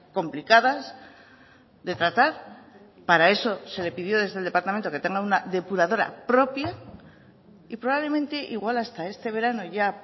complicadas de tratar para eso se le pidió desde el departamento que tenga una depuradora propia y probablemente igual hasta este verano ya